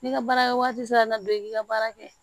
N'i ka baarakɛwagati sera ka na don i ka baara kɛ